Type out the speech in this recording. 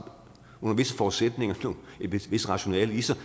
under visse forudsætninger et vist rationale i sig